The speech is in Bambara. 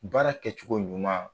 Baara kɛcogo ɲuma